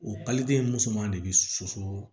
O paliden musoman de bɛ soso